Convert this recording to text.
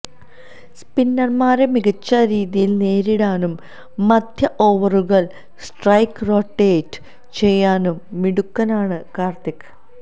സ്പിന്നര്മാരെ മികച്ച രീതിയില് നേരിടാനും മധ്യ ഓവറുകള് സ്ട്രൈക്ക് റൊട്ടേറ്റ് ചെയ്യാനും മിടുക്കനാണ് കാര്ത്തിക്